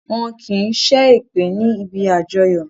Wọn kì í ṣe èpè níbi àjọyọ̀